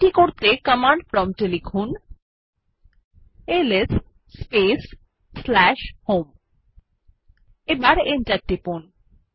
এটি করতে command prompt এ লিখুন এলএস স্পেস হোম এবং এন্টার টিপুন